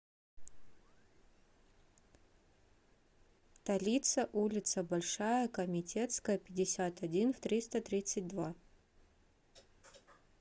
талица улица большая комитетская пятьдесят один в триста тридцать два